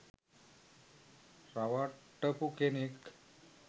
රවට්ටපු කෙනෙක්.